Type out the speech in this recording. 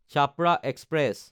Chhapra express